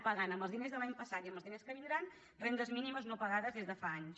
paguen amb els diners de l’any passat i amb els diners que vindran rendes mínimes no pagades des de fa anys